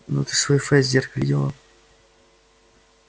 ну ты свой фейс в зеркале видела